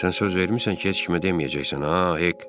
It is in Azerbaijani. Sən söz vermisən ki, heç kimə deməyəcəksən ha, Hek?